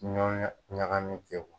N'aw ye ɲagamin kɛ